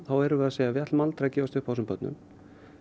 erum við að segja við ætlum aldrei að gefast upp á þessum börnum